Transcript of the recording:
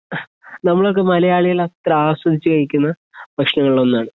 നമ്മളൊക്കെ മലയാളികള് അത്ര ആസ്വദിച്ചുകഴിക്കുന്ന ഭക്ഷണങ്ങളിൽ ഒന്നാണ്